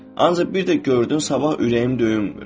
Ancaq bir də gördün sabah ürəyim döyünmür.